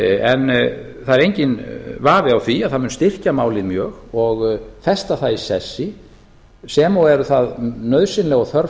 en það er enginn vafi á því að það mun styrkja málið mjög og festa það í sessi sem og eru það nauðsynleg og þörf